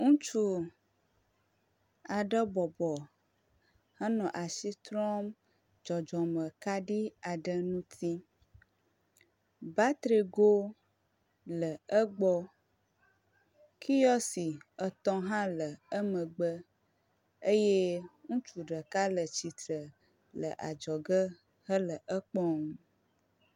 Ŋutsu aɖe bɔbɔ enɔ asi trɔm dzɔdzɔme kaɖi aɖe ŋuti. Batrigo le egbɔ kiwɔsi etɔ̃ hã le emegbe eye ŋutsu ɖeka le tsitre le adzɔge hele ekpɔm.